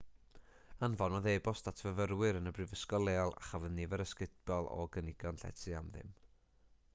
anfonodd e-bost at fyfyrwyr yn y brifysgol leol a chafodd nifer ysgubol o gynigion llety am ddim